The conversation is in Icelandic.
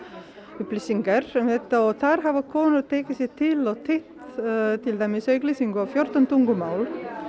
upplýsingar og þar hafa konur tekið sig til og þýtt til dæmis á fjórtán tungumál